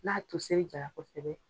N'a toseri jara kosɛbɛ.